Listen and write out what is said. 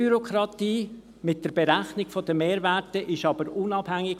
Diese Bürokratie mit der Berechnung der Mehrwerte ist aber vom Betrag unabhängig.